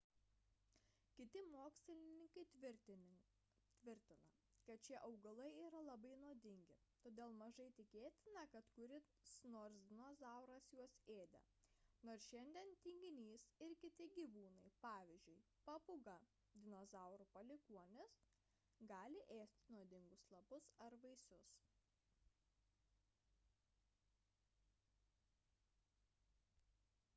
kiti mokslininkai tvirtina kad šie augalai yra labai nuodingi todėl mažai tikėtina kad kuris nors dinozauras juos ėdė nors šiandien tinginys ir kiti gyvūnai pavyzdžiui papūga dinozaurų palikuonis gali ėsti nuodingus lapus ar vaisius